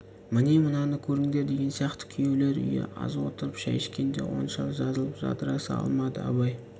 міне мынаны көріңдер деген сияқты күйеулер үйі аз отырып шай ішкенше оншалық жазылып жадыраса алмады абай